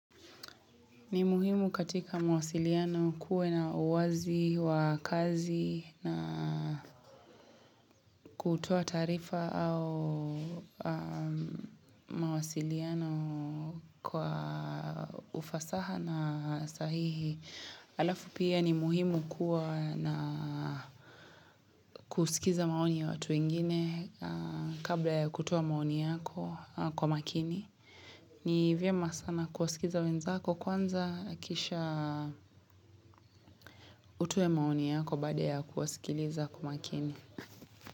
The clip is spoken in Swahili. Ni muhimu katika mawasiliano kuwe na uwazi, wakazi na kutoa taarifa au mawasiliano kwa ufasaha na sahihi. Alafu pia ni muhimu kuwa na kusikiza maoni ya watu wengine kabla ya kutoa maoni yako kwa makini. Ni vyema sana kuwasikiza wenzako kwanza kisha utoe maoni yako baada ya kuwasikiliza kwa umakini.